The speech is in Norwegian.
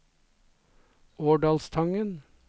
Årdalstangen